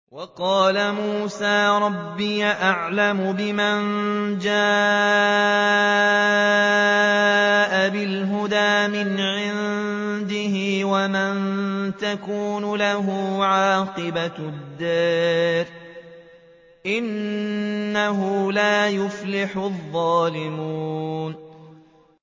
وَقَالَ مُوسَىٰ رَبِّي أَعْلَمُ بِمَن جَاءَ بِالْهُدَىٰ مِنْ عِندِهِ وَمَن تَكُونُ لَهُ عَاقِبَةُ الدَّارِ ۖ إِنَّهُ لَا يُفْلِحُ الظَّالِمُونَ